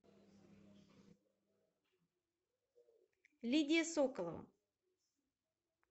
лидия соколова